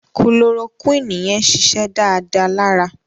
Kulorokúìnì yẹn ṣiṣẹ́ dáadáa lára